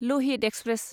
Lohit express